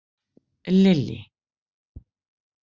Lily